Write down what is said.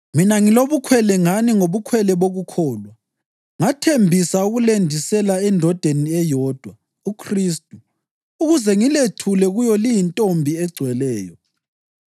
Mina ngilobukhwele ngani ngobukhwele bokukholwa. Ngathembisa ukulendisela endodeni eyodwa, uKhristu, ukuze ngilethule kuyo liyintombi egcweleyo.